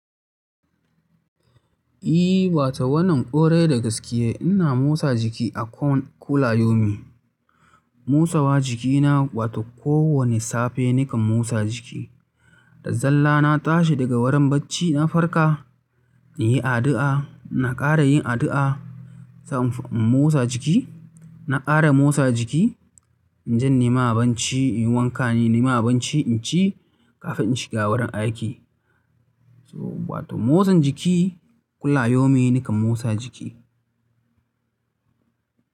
I, wato wannan kwarai da gaskiya. Ina motsa jiki akwan kula yomi. Motsawa jiki na wato kowane safe nakan motsa jiki. Da zalla na tashi daga wurin barci, na farka, na yi addu'a, na ƙara yin addu'a, sai in motsa jiki. Na ƙara motsa jiki, in jan nima abinci, in wanka, nima abinci, in ci kafin in shiga wurin aiki. So bata motsan jiki kula yomi nakan motsa jiki.